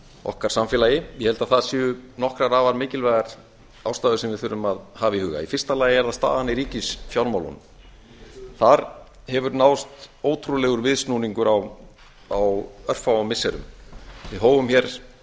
okkar samfélagi ég held að það séu nokkrar afar mikilvægar ástæður sem við þurfum að hafa í huga í fyrsta lagi er það staðan í ríkisfjármálunum þar hefur náðst ótrúlegur viðsnúningur á örfáum missirum við hófum störf